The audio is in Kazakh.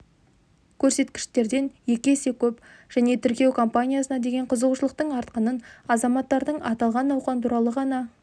көрсеткіштерден екі есе көп және тіркеу кампаниясына деген қызығушылықтың артқанын азаматтардың аталған науқан туралы ғана